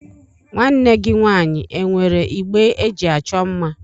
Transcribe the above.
Nwanne gị nwaanyị e nwere igbe eji achọ mma?